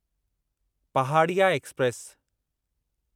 Pahadiya express